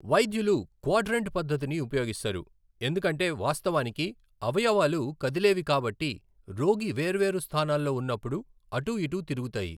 వైద్యులు క్వాడ్రంట్ పద్ధతిని ఉపయోగిస్తారు, ఎందుకంటే వాస్తవానికి, అవయవాలు కదిలేవి కాబట్టి రోగి వేర్వేరు స్థానాల్లో ఉన్నప్పుడు అటూఇటూ తిరుగుతాయి.